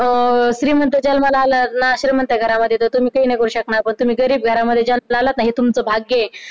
अं श्रीमंत जन्माला आला श्रीमंत घरामध्ये तर तुम्ही तेही नाही करू शकणार पण तुम्ही गरीब घरामध्ये जन्माला आलात ना हे तुमचे भाग्य आहे